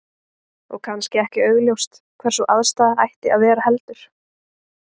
Og kannski ekki augljóst hvar sú aðstaða ætti að vera heldur?